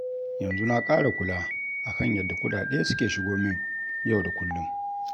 Yanzu na ƙara kula a kan yadda kuɗaɗe suke shigo min yau da kullum.